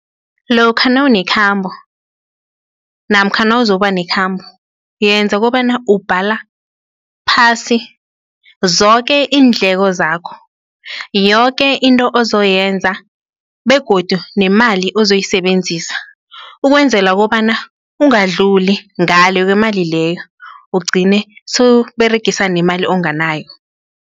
Lokha nawunekhambo namkha nawuzokuba nekhambo yenza kobana ubhala phasi zoke iindleko zakho, yoke into ozoyenza begodu, nemali ozoyisebenzisa ukwenzela kobana ungadluli ngale kwemali leyo, ugcine sowuberegisa nemali onganayo.